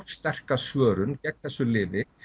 sterka svörun gegn þessu lyfi